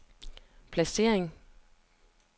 placering